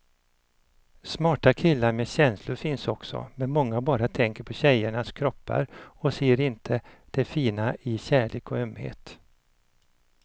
Smarta killar med känslor finns också, men många bara tänker på tjejernas kroppar och ser inte det fina i kärlek och ömhet.